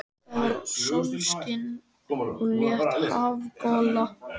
Það var sólskin og létt hafgola.